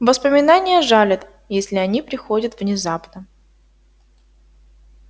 воспоминания жалят если они приходят внезапно